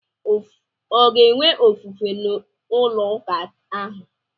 Ọ ga-enwe ofufe n'ụlọ ụka ahụ?